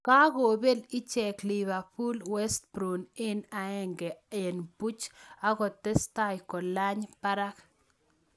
Kakobel icheek livepool westbrom eng aenge eng puuch akotestai kolany parak